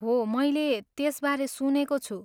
हो, मैले त्यसबारे सुनेको छु।